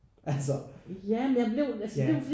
Altså ja